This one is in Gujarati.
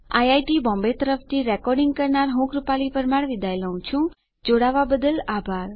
આઈઆઈટી બોમ્બે તરફથી સ્પોકન ટ્યુટોરીયલ પ્રોજેક્ટ માટે ભાષાંતર કરનાર હું જ્યોતી સોલંકી વિદાય લઉં છું